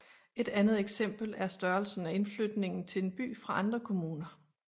Et andet eksempel er størrelsen af indflytning til en by fra andre kommuner